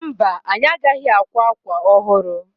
Mba, anyị agaghị akwa akwa ọhụrụ.